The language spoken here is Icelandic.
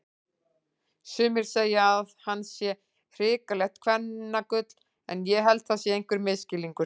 Sumir segja að hann sé hrikalegt kvennagull en ég held það sé einhver misskilningur.